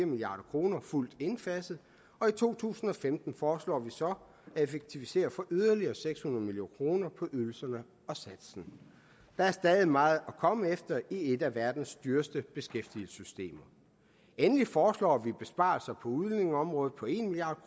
milliard kroner fuldt indfaset i to tusind og femten foreslår vi så at effektivisere for yderligere seks hundrede million kroner på ydelserne og satsen der er stadig meget at komme efter i et af verdens dyreste beskæftigelsessystemer endelig foreslår vi besparelser på udlændingeområdet på en milliard